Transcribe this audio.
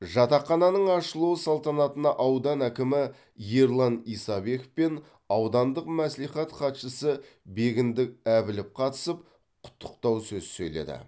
жатақхананың ашылуы салтанатына аудан әкімі ерлан исабеков пен аудандық мәслихат хатшысы бегіндік әбілов қатысып құттықтау сөз сөйледі